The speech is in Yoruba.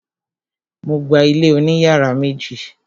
Mo gba ilé oní yàrá méjì.